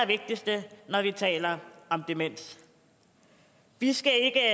og vi taler om demens vi skal ikke